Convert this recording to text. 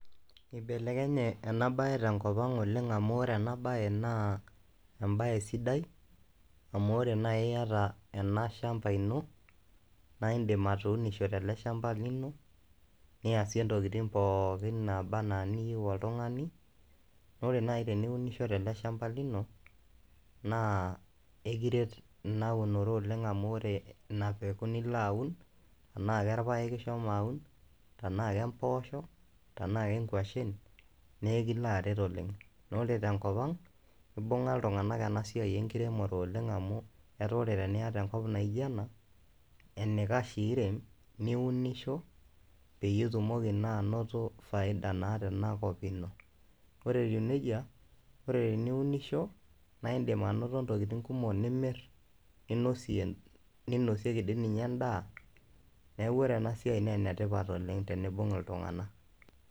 Ibelekenye ena baye te nkop ang' olegng' amu ore ena baye naa embaye sidai amu ore nai iyata ena shamba ino nae indim atuunisho tele shamba lino, niasie ntokitin pookin naaba naa niyeu oltung'ani. Ore nai teniunisho tele shamba lino naa ekiret ina unore oleng' amu ore ina peku nilo aun enaake irpeaek ishomo alo aun, tenaake mpoosho, tenaake nkwashen, nekilo aret oleng' na ore tenkop ang' ibung'a iltung'anak ena siai enkiremore oleng' amu etaa ore tenaa iyata enkop naijo ena enikash piirem niunisho peyie itumoki naa anoto faida naata ena kop ino. Ore etiu neija ore teniunisho nae indim anoto ntokitin kumok nimir, ninosie ninosieki dii ninye endaa. Neeku ore ena siai nee ene tipat oleng' teniibung' iltung'anak.